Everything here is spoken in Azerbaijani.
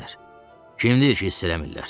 Kim deyir ki, hiss eləmirlər?